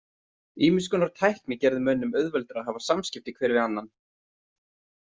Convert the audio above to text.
Ýmiss konar tækni gerði mönnum auðveldara að hafa samskipti hver við annan.